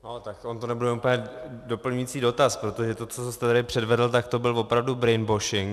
No, tak on to nebude úplně doplňující dotaz, protože to, co jste tady předvedl, tak to byl opravdu brainwashing.